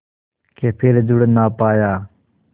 के फिर जुड़ ना पाया